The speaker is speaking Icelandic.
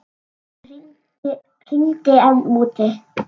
Það rigndi enn úti.